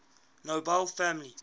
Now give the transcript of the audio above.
nobel family